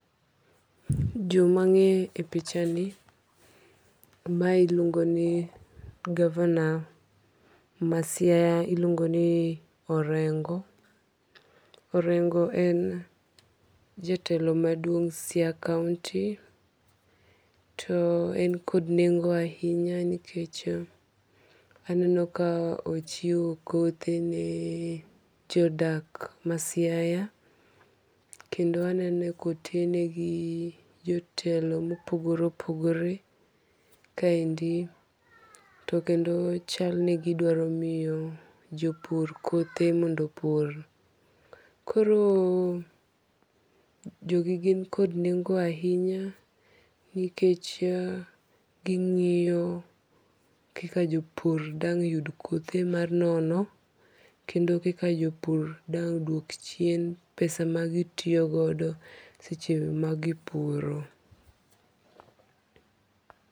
Joma ang'eyo epichani, mae iluongo ni governor ma Siaya iluongoni Orengo. Orengo en jatelo maduong' Siaya county. To en kod nengo ahinya nikech aneno ka ochiwo kothe nee jodak ma Siaya, kendo aneno ka otene gi jotelo mopogore opogore. Ka endi .To kendo chalgi ni gi dwaro miyo jopur kothe ,mondo jopur. Koro jogi gin kod nengo ahinya nikech gi ng'iyo kaka jopur dang' yud kothe mar nono kendo kaka jopur dang' duok chien pesa ma gi tiyo godo seche ma gi puro.